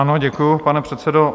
Ano, děkuji, pane předsedo.